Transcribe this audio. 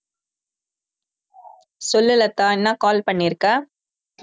சொல்லு லதா என்ன call பண்ணிருக்க